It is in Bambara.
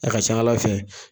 A ka ca ala fɛ